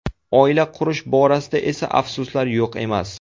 Oila qurish borasida esa afsuslar yo‘q emas.